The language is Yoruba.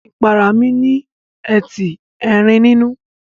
Ìpara mí ní etí Erin nínú.